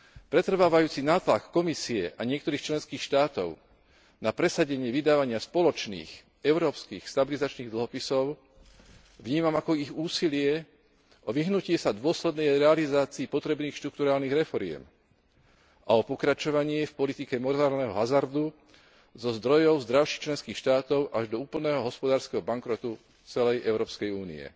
Pretrvávajúci nátlak Komisie a niektorých členských štátov na presadenie vydávania spoločných európskych stabilizačných dlhopisov vnímam ako ich úsilie o vyhnutie sa dôslednej realizácii potrebných štrukturálnych reforiem a o pokračovanie v politike morálneho hazardu zo zdrojov zdravších členských štátov až do úplného hospodárskeho bankrotu celej Európskej únie.